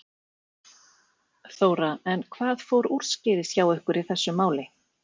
Þóra: En hvað fór úrskeiðis hjá ykkur í þessu máli?